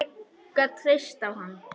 Ég gat treyst á hann.